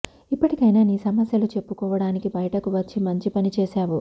ఇప్పటికైనా నీ సమస్యలు చెప్పుకోడానికి బయటకు వచ్చి మంచి పని చేశావు